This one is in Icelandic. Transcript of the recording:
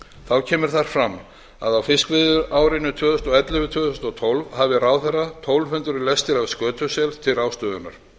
þá kemur þar fram að á fiskveiðiárinu tvö þúsund og ellefu til tvö þúsund og tólf hafi ráðherra tólf hundruð lestir af skötusel til ráðstöfunar